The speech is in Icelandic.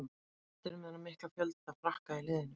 Hvað finnst þér um þennan mikla fjölda Frakka í liðinu?